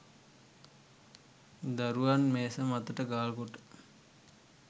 දරුවන් මේස මතට ගාල්කොට